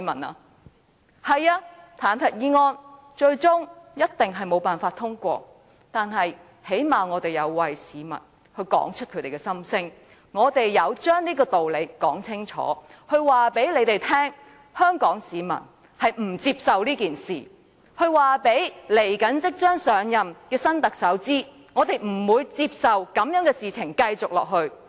不錯，彈劾議案最終一定無法通過，但最低限度我們曾為市民道出他們的心聲，我們有把這個道理說清楚，告訴梁振英一伙香港市民不接受這件事，告訴即將上任的新特首，我們不會容許這種事情繼續下去。